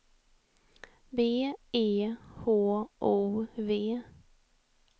B E H O V